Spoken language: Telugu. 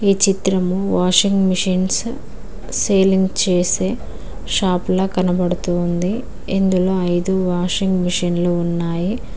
చిత్రం వాషింగ్ మిషన్స్ సేలింగ్ చేసే షాపుల కనబడుతోంది ఇందులో ఐదు వాషింగ్ మిషన్లు ఉన్నాయి.